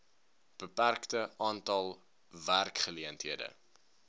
beperkte aantal werkgeleenthede